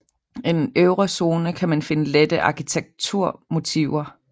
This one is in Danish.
I den øvre zone kan man finde lette arkitekturmotiver